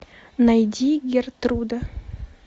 найди гертруда